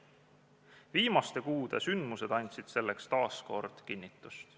Viimaste kuude sündmused andsid selleks taas kinnitust.